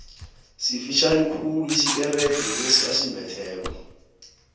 sifitjhani khulu isikerede lesi asimbetheko